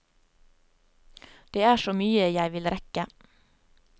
Det er så mye jeg vil rekke.